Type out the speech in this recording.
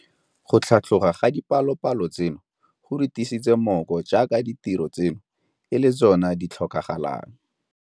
Go tlhatlhoga ga dipalopalo tseno go re tiisa mmooko jaaka ditiro tseno e le tsona tse di tlhokagalang.